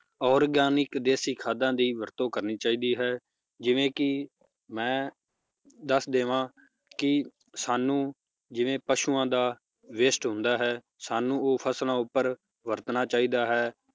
Organic ਦੇਸੀ ਖਾਦਾਂ ਦੀ ਵਰਤੋਂ ਕਰਨੀ ਚਾਹੀਦੀ ਹੈ ਜਿਵੇ ਕੀ, ਮੈ, ਦੱਸ ਦਿਵਾਂ, ਕੀ ਸਾਨੂੰ ਜਿਵੇ ਪਸ਼ੂਆਂ ਦਾ waste ਹੁੰਦਾ ਹੈ, ਸਾਨੂੰ ਉਹ ਫਸਲਾਂ ਉਪਰ ਵਰਤਣਾ ਚਾਹੀਦਾ ਹੈ,